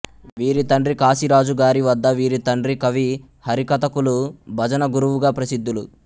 వీరి తండ్రి కాశిరాజు గారి వద్ద వీరి తండ్రి కవి హరికథకులు భజన గురువుగా ప్రసిద్ధులు